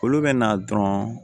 Olu bɛ na dɔrɔn